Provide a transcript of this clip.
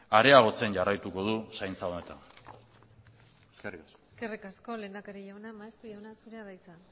areagotzen jarraituko du zaintza honetan eskerrik asko eskerrik asko lehendakari jauna maeztu jauna zurea da hitza